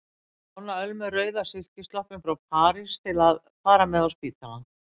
Ég lána Ölmu rauða silkisloppinn frá París til að fara með á spítalann.